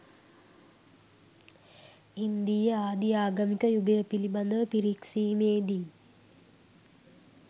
ඉන්දීය ආදි ආගමික යුගය පිළිබඳව පිරික්සීමේදී